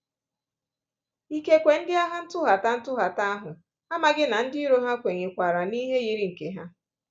Ikekwe, ndị agha ntụghata ntụghata ahụ amaghị na ndị iro ha kwenyekwaara n'ihe yiri nke ha.